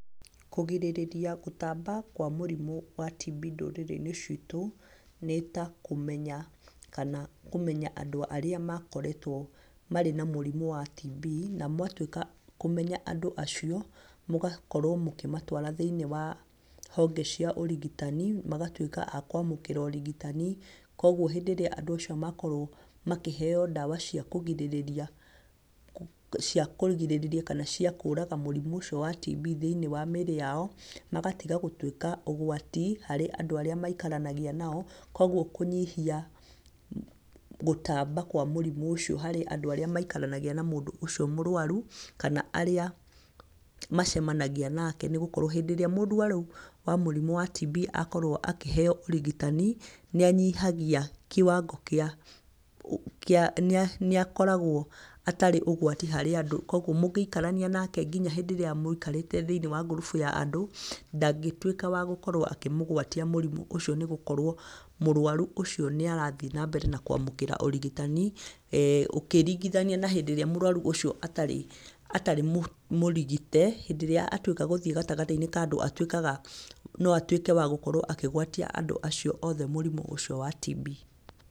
Kũgirĩrĩria gũtamba kwa mũrimũ wa TB ndũrĩrĩ-inĩ citu, nĩ ta kũmenya kana kũmenya andũ arĩa makoretwo marĩ na mũrimu wa TB, na mwatwĩka a kũmenya andũ acio, mũgakorwo mũkĩmatwara thĩinĩ wa honge cia ũrigitani, magatuĩka a kwamũkĩra ũrigitani. Koguo hĩndĩ ĩríĩ andũ acio makorwo makĩheo ndawa cia kũgirĩrĩria, kana cia kũraga mũrimũ ũcio wa TB thĩinĩ wa mĩrĩ yao, magatiga gũtuĩka ũgwati harĩ andũ arĩa maikaranagia nao, koguo kũnyihia gũtamba kwa mũrimũ ũcio harĩ andũ arĩa maikaranagia na mũndũ ũcio mũrwaru, kana arĩa macemanagia nake. Nĩ gũkorwo hĩndĩ ĩrĩa mũrwaru wa mũrimũ wa TB akorwo akĩheo ũrigitani, nĩ anyihagia kĩwango kĩa, nĩ akoragwo atarĩ ũgwati harĩ andũ. Koguo mũngĩikarania nake nginya hĩndĩ ĩrĩa mũikarĩte ngurubu ya andũ, ndagĩtuĩka wa gũkorwo akĩmũgwatia mũrimũ ũcio, nĩ gũkorwo mũrwaru ũcio nĩ arathii na mbere na kwamũkĩra ũrigitani, ũkĩringithania na hĩndĩ ĩrĩa mũrwaru ucio atarĩ mũrigĩte, hĩndĩ rĩrĩa atuĩka gũthiĩ gatagatĩ-inĩ ka andũ atuĩkaga no atukĩe wa gũkorwo akĩgwatia andũ acio othe mũrimũ ũcio wa TB.